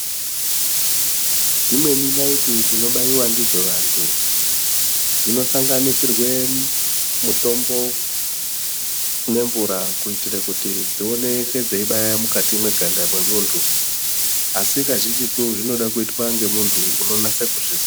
Dzimweni naiti dzinobaiwa ndidzo vantu dzinosanganisirwe mutombo nemvura kuitira kuti dzioneke dzeibaya mukati mweganda mwemuntu asi kazhinjitu zvinoda kuitwa ngemuntu unonasa kuzviziya.